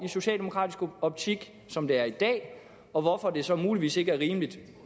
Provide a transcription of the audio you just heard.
socialdemokratiske optik som det er i dag og hvorfor det så muligvis ikke er rimeligt